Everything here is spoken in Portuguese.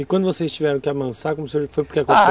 E quando vocês tiveram que amansar,